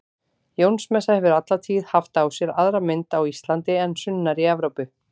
Jónsmessa hefur alla tíð haft á sér aðra mynd á Íslandi en sunnar í Evrópu.